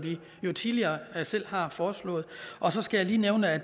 vi tidligere selv har foreslået og så skal jeg lige nævne at